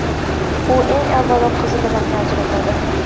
U, eng avvalo, qizil rangni ajratadi.